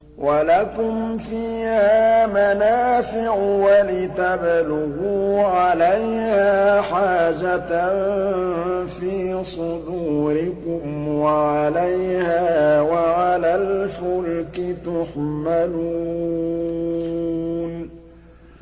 وَلَكُمْ فِيهَا مَنَافِعُ وَلِتَبْلُغُوا عَلَيْهَا حَاجَةً فِي صُدُورِكُمْ وَعَلَيْهَا وَعَلَى الْفُلْكِ تُحْمَلُونَ